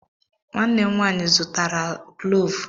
Nwanne m nwaanyị zụrụtara klọọvụ.